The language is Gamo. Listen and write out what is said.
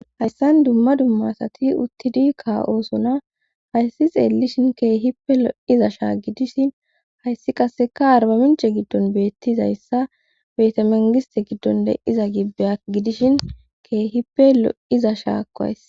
hayssan dumma dumma asati uttidi kaa7osona hayssi xeellishin keehippe lo7iza shaa gidishin hayssi qaseka arbaminche giddon beettizayssa betamengise giddon de iza ibeya gidishin keehippe lo7iza shaakkoays